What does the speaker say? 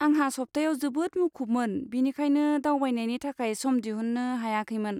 आंहा सप्ताया जोबोद मुखुबमोन , बेनिखायनो दावबायनायनि थाखाय सम दिहुन्नो हायाखैमोन।